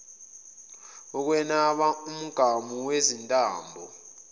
ukunweba umgamu wezintambo